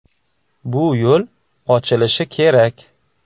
Bu yo‘l ochilishi kerak.